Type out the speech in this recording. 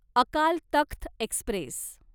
Akal Takht Express